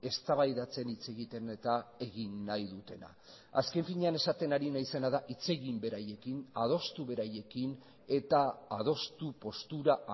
eztabaidatzen hitz egiten eta egin nahi dutena azken finean esaten ari naizena da hitz egin beraiekin adostu beraiekin eta adostu postura